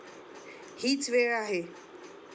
हीच वेळ आहे.